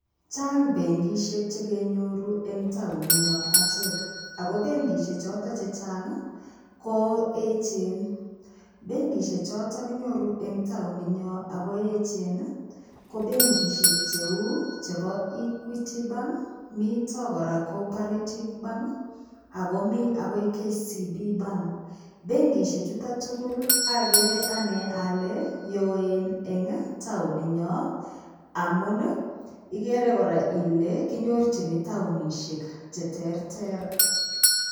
Chang benkishek chekenyoru eng taonit nyo achek ako benkishek choto chechang ko echen benkishek choto kinyoru en taonit nyo Ako echen ko benkishek cheu chebo equity bank, mito kora cooperative bank akomi akoi kcb bank . Benkishek chuton tugul agree ane ale yoen en taonit nyo amun ikere kora ile kinyorchini taonishek cheterter